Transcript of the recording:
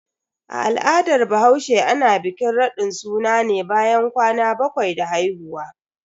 A al'adar bahaushe, ana bikin radin suna ne bayan kwana bakwai da haihuwa.